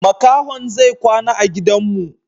Makahon zai kwana a gidan mu.